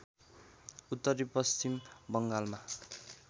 उत्तरी पश्चिम बङ्गालमा